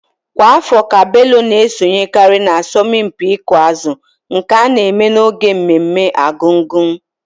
Kwa afọ ka Bello na-esonyekarị n'asọmpi ịkụ azụ nke a na-eme n'oge mmemme Argungun.